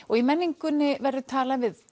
og í menningunni verður talað við